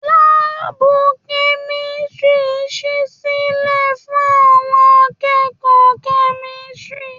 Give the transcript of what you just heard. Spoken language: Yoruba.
Láàbù kẹ̀misiri sí sílẹ fún àwọn akẹ́kọ̀ọ́ kẹ̀misiri.